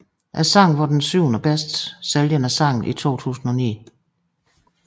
Sangen var den syvendebedst sælgende sang i 2009